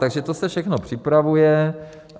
Takže to se všechno připravuje.